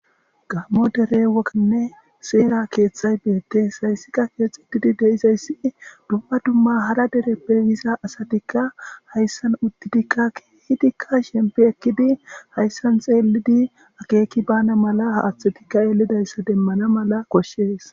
Gammo dere woganne seera keeththay beettes hayssika keexxutidi deizayssi dumma dumma hara dereppe wiza asatikka hayssan uddidikka kiidikka shempi ekkidi hayssan xeelidi akeeki bana mala haaththotikka eelidayssa demmana mala koshshees.